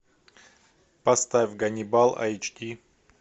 поставь ганнибал айч ди